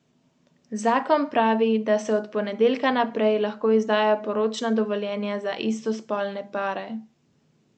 Kranj.